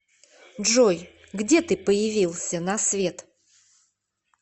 джой где ты появился на свет